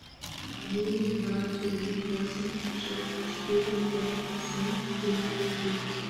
девять два три восемь шесть четыре пять семь три три